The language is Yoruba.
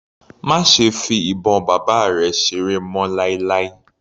Má ṣe fi ìbọn bàbá rẹ̀ seré mọ́ láíláí.